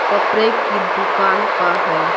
कपड़े की दुकान का है।